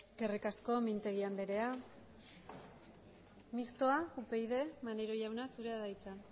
eskerrik asko mintegi andrea mistoa upyd maneiro jauna zurea da hitza